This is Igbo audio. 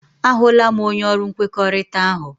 A hụla m, onye ọrụ nkwekọrịta ahụ.